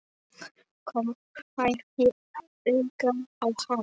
Kom hvergi auga á hana.